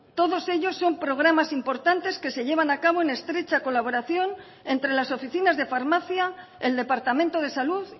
todos ellos son programas importantes que se llevan a cabo en estrecha colaboración entre las oficinas de farmacia el departamento de salud